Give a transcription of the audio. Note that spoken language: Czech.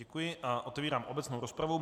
Děkuji a otevírám obecnou rozpravu.